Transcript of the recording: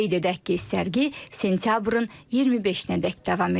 Qeyd edək ki, sərgi sentyabrın 25-nədək davam edəcək.